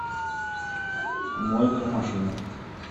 мойка машины